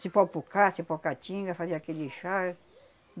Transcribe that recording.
Cipó-pucá, cipó-caatinga, fazia aquele chá